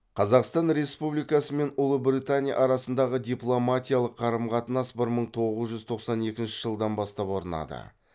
қазақстан республикасы мен ұлыбритания арасындағы дипломатиялық қарым қатынас бір мың тоғыз жүз тоқсан екінші жылдан бастап орнады